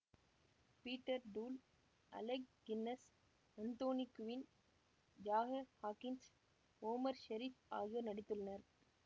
Peter Toole Alec Guinness Anthony Quinn Jack Hawkins Omar Sharif ஆகியோர் நடித்துள்ளனர்